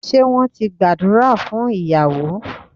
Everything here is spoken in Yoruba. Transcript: Ṣé wón ti gbàdúrà fún ìyàwó